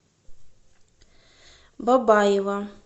бабаево